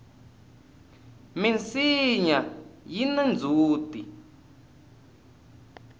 minsinya yina ndzhuti